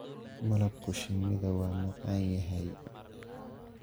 malabku shinnida wa macan yahay.